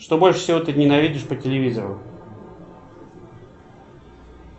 что больше всего ты ненавидишь по телевизору